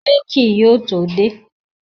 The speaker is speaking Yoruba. Rẹ́ẹ̀kì yóò tó dé